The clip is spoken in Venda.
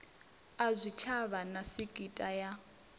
a zwitshavha na sekitha ya